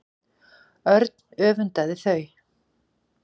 Örn öfundaði þau.